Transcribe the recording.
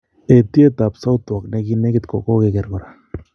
eetyet ap Southwark neginegit ko kogeger kora